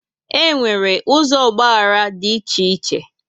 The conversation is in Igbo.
E nwere ụzọ ọgbaghara dị iche iche